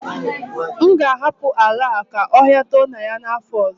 M ga-ahapụ ala a ka ọhia too na ya n'afọ ọzọ